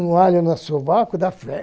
Um alho no sovaco dá